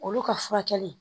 Olu ka furakɛli